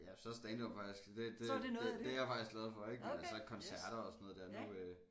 Ja så er standup faktisk det det det det er jeg faktisk glad for ik men altså koncerter og sådan noget dér nu øh